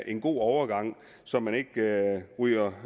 en god overgang så man ikke ryger